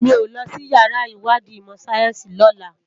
Mi ó lòsí iyàrá iwàdí imò sáyènsí lòlá